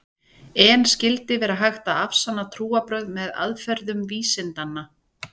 En skyldi vera hægt að afsanna trúarbrögð með aðferðum vísindanna?